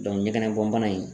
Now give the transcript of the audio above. ɲɛgɛnɛ bɔn bana in